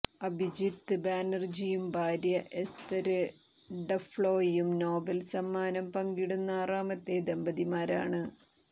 അഭിജിത്ത് ബാനര്ജിയും ഭാര്യ എസ്തര് ഡഫ്ലോയും നോബേല് സമ്മാനം പങ്കിടുന്ന ആറാമത്തെ ദമ്പതിമാരാണ്